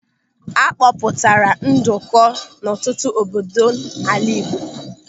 A kpọpụtara nduku n'ọtụtụ obodo n'ala Igbo.